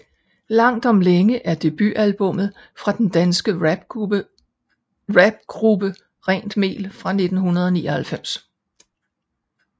Langt om længe er debutalbummet fra den danske rapgruppe Rent mel fra 1999